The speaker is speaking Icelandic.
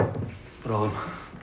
bráðum